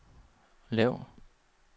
lav